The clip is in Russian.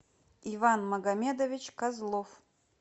иван магомедович козлов